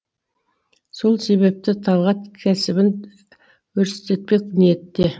сол себепті талғат кәсібін өрістетпек ниетте